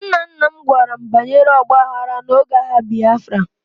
Nna nna m gwara m banyere ọgba aghara n'oge agha Biafra